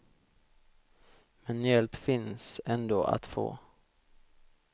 Men hjälp finns ändå att få.